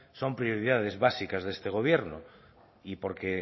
son prioridades básicas de este gobierno y porque